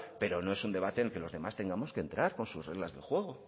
pero no es un debate en el que los demás tengamos que entrar con sus reglas de juego